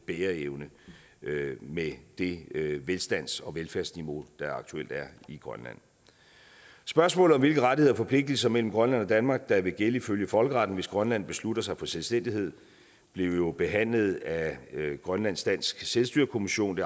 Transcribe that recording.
bæreevne med det velstands og velfærdsniveau der aktuelt er i grønland spørgsmålet om hvilke rettigheder og forpligtelser mellem grønland og danmark der vil gælde ifølge folkeretten hvis grønland beslutter sig for selvstændighed blev jo behandlet af grønlandsk dansk selvstyrekommission